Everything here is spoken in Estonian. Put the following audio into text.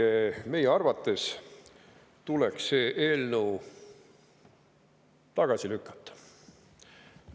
Seega tuleks meie arvates see eelnõu tagasi lükata.